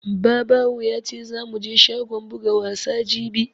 Babawo ya ce zamu je shagon buga wasa jibi